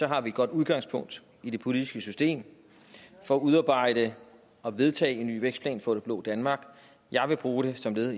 har vi et godt udgangspunkt i det politiske system for at udarbejde og vedtage en ny vækstplan for det blå danmark jeg vil bruge det som led